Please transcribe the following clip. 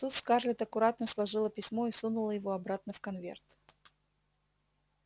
тут скарлетт аккуратно сложила письмо и сунула его обратно в конверт